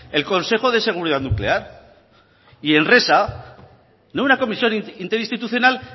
el consejo de seguridad nuclear y enresa no una comisión interinstitucional